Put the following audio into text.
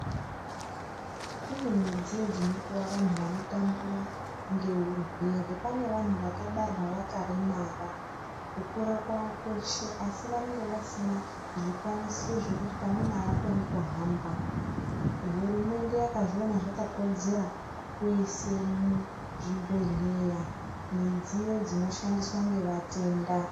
Kune midziyo dzinopuwa vantu vanotambura ngeurwere. Pane vantu vakabarwa vakaremara kukura kwavo kwese asi vanenge vasina zvikwanisiro zvekuti pamweni aakoni kuhamba. Hurumende yakazviona zvakakodzera kuise muzvibhehleya midziyo inoshandiswa ngevatenda.